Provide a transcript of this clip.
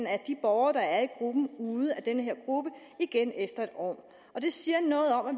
af de borgere der er i gruppen ude af denne gruppe igen efter et år det siger noget om at